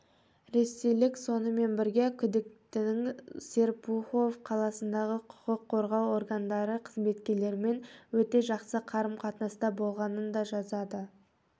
ресейлік сонымен бірге күдіктінің серпухов қаласындағы құқық қорғау органдары қызметкерлерімен өте жақсы қарым-қатынаста болғанын да жазады